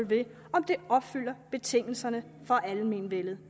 ved om det opfylder betingelserne for almenvellet